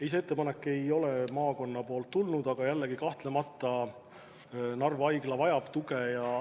Ei, see ettepanek ei ole maakonnalt tulnud, aga kahtlemata Narva Haigla vajab tuge.